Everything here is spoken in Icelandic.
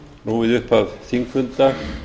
nú við upphaf þingfundar